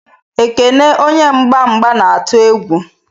Ekene onye mgba mgba na-atụ egwu.